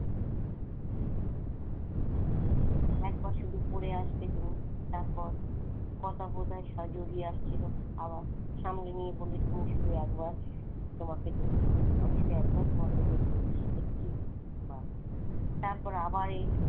একবার শুধু পড়ে আসবে তুমি তারপর কথা বোধহয় সর জুড়িয়ে আসছিল আবার সামনে নিয়ে বললে তুমি শুধু একবার তোমাকে দেখব আমি শুধু একবার তোমাকে দেখবো একটিবার তারপর আবার এই,